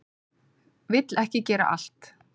Vill ekki gera allt